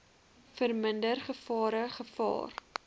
verminder gevare gevaar